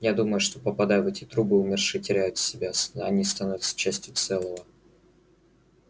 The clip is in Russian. я думаю что попадая в эти трубы умершие теряют себя они становятся частью целого